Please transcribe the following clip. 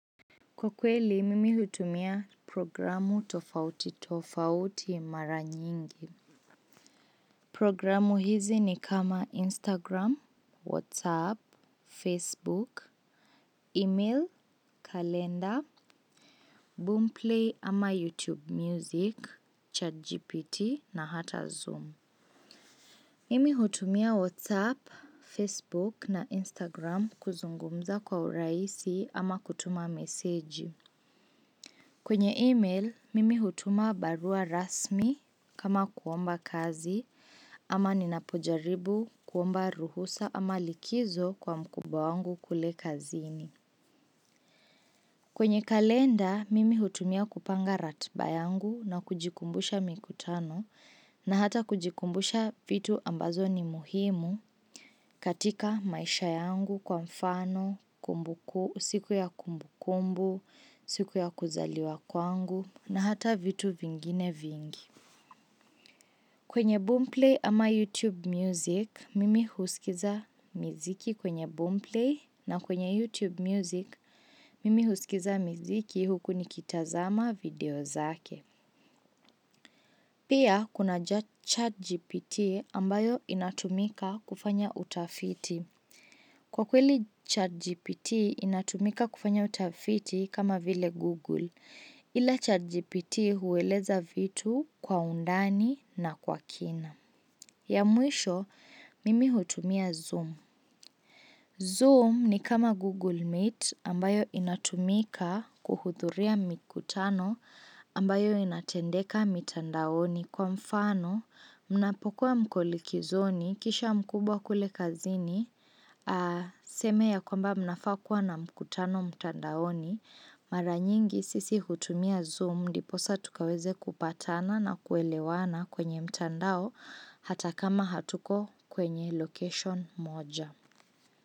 Kwa kweli, mimi hutumia programu tofauti tofauti mara nyingi. Programu hizi ni kama Instagram, Whatsapp, Facebook, Email, Kalenda, Boomplay ama YouTube Music, ChatGPT na hata Zoom. Mimi hutumia Whatsapp, Facebook na Instagram kuzungumza kwa urahisi ama kutuma meseji. Kwenye email, mimi hutuma barua rasmi kama kuomba kazi ama ninapojaribu kuomba ruhusa ama likizo kwa mkubwa wangu kule kazini. Kwenye kalenda, mimi hutumia kupanga ratiba yangu na kujikumbusha mikutano na hata kujikumbusha vitu ambazo ni muhimu. Katika maisha yangu kwa mfano, kumbuku, siku ya kumbukumbu, siku ya kuzaliwa kwangu, na hata vitu vingine vingi. Kwenye Boomplay ama YouTube Music, mimi husikiza miziki kwenye Boomplay na kwenye YouTube Music, mimi husikiza miziki huku nikitazama video zake. Pia, kuna chatGPT ambayo inatumika kufanya utafiti. Kwa kweli chatGPT inatumika kufanya utafiti kama vile Google, ila chatGPT hueleza vitu kwa undani na kwa kina. Ya mwisho, mimi hutumia Zoom. Zoom ni kama Google Meet ambayo inatumika kuhudhuria mikutano ambayo inatendeka mitandaoni kwa mfano. Mnapokuwa mko likizoni kisha mkubwa kule kazini aseme ya kwamba mnafaa kuwa na mkutano mtandaoni, mara nyingi sisi hutumia Zoom ndipo saa tukaweze kupatana na kuelewana kwenye mtandao hata kama hatuko kwenye location moja.